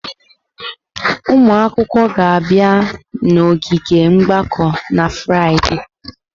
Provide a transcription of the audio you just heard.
Ụmụ akwụkwọ ga-abịa n'ogige mgbakọ na Fraịde.